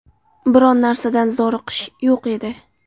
Biron narsadan zoriqish yo‘q edi.